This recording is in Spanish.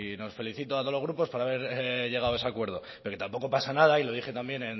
nos felicito a todos los grupos por haber llegado a ese acuerdo pero tampoco pasa nada y lo dije también